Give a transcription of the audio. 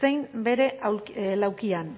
zein bere laukian